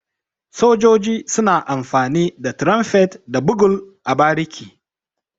Sojoji suna amfani da Tirumfet da Bugul a bariki.